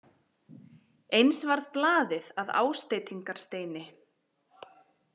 Eins varð blaðið að ásteytingarsteini.